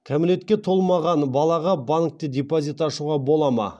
кәмелетке толмаған балаға банкте депозит ашуға бола ма